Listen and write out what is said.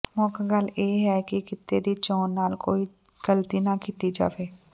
ਮੁੱਖ ਗੱਲ ਇਹ ਹੈ ਕਿ ਕਿੱਤੇ ਦੀ ਚੋਣ ਨਾਲ ਕੋਈ ਗਲਤੀ ਨਾ ਕੀਤੀ ਜਾਵੇ